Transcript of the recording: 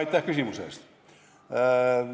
Aitäh küsimuse eest!